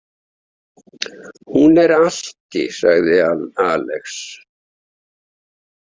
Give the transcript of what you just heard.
Hún er alki, sagði Alex.